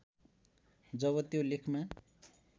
जब त्यो लेखमा